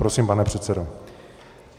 Prosím, pane předsedo.